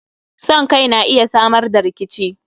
Son Kai na iya Samar da rikici